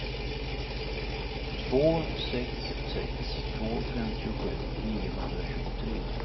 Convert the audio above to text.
två sex sex två femtiosju niohundratjugotre